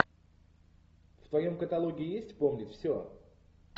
в твоем каталоге есть помнить все